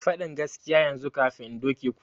Fadin gaskiya yanzu kafin in doke ku!